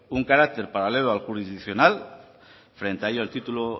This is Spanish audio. un carácter paralelo al jurisdiccional frente a ello el título